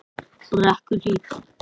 Brekkuhlíð